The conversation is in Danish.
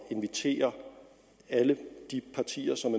invitere alle de partier som